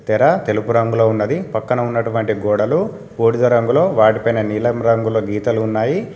ఇక్కర తెలుపు రంగులో ఉన్నది పక్కన ఉన్నటువంటి గోడలు బూడిద రంగులో వాటిపైన నీలం రంగులో గీతలు ఉన్నాయి.